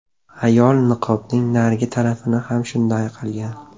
Ayol niqobning narigi tarafini ham shunday qilgan.